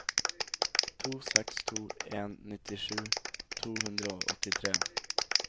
to seks to en nittisju to hundre og åttitre